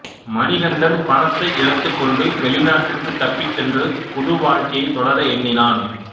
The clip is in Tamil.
மணிகண்டன் பணத்தை எடுத்துக்கொண்டு வெளிநாட்டிற்கு தப்பிச்சென்று புது வாழ்க்கையை தொடர எண்ணினான்